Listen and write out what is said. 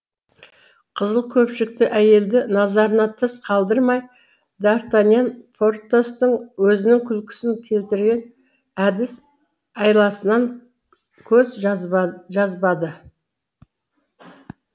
қызыл көпшікті әйелді назарынан тыс қалдырмай д артаньян портостың өзінің күлкісін келтірген әдіс айласынан көз жазбады